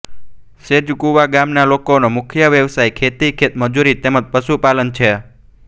સેજકુવા ગામના લોકોનો મુખ્ય વ્યવસાય ખેતી ખેતમજૂરી તેમ જ પશુપાલન છે